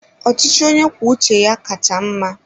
Ọchịchị onye kwuo uche ya kacha mma.